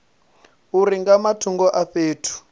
uri nga matungo a fhethu